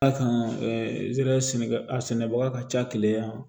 A kan zɛri sɛnɛkɛ a sɛnɛbaga ka ca keleya yan